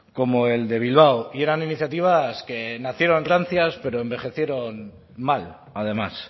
como el de bilbao y eran iniciativas que nacieron rancias pero envejecieron mal además